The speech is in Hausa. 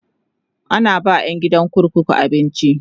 ana ba ƴan gidan kurkuku abinci